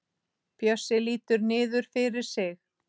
Bjössi lítur niður fyrir sig.